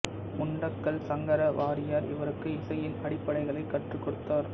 முண்டக்கல் சங்கர வாரியர் இவருக்கு இசையின் அடிப்படைகளை கற்றுக் கொடுத்தார்